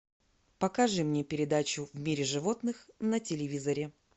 покажи мне передачу в мире животных на телевизоре